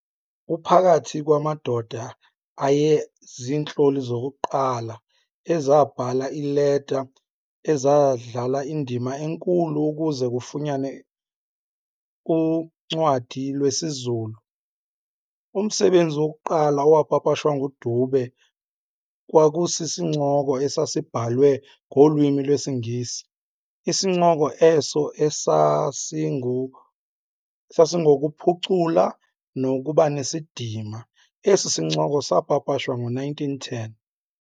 Uphakathi kwamadoda ayezintloli zokuqala ezabhala iileta ezadlala indima enkulu ukuze kufunyanwe uncwadi lwesiZulu. Umsebenzi wokuqala owapapashwa nguDube kwakusisincoko esasibhalwe ngolwimi lwesiNgesi isincoko eso esasingokuphucula nokubanesidima. Esi sincoko saapapashwa ngo-1910.